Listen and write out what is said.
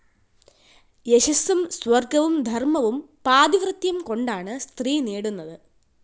യശസ്സും സ്വർഗ്ഗവും ധർമവും പാതിവ്രത്യം കൊണ്ടാണ് സ്ത്രീ നേടുന്നത്